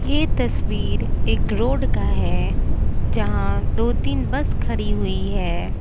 ये तस्वीर एक रोड का है जहां दो तीन बस खड़ी हुई है।